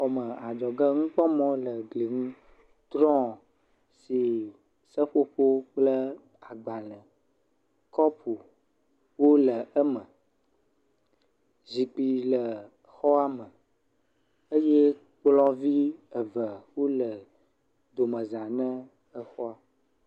Xɔme adzɔge, nukpɔme le gli ŋu, drɔ si seƒoƒo kple agbalẽ, kɔpu wole eme. Zikpui le xɔa me eye kplɔ̃ vi eve wole domezã ne kplɔ̃.